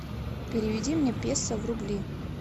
переведи мне песо в рубли